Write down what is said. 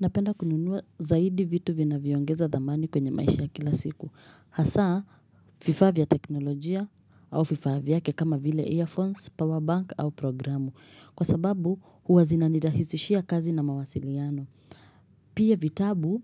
Napenda kununua zaidi vitu vinavyoongeza dhamani kwenye maisha ya kila siku. Hasa, vifaa vya teknolojia au vifaa vyake kama vile earphones, powerbank au programu. Kwa sababu, huwa zina nirahisishia kazi na mawasiliano. Pia vitabu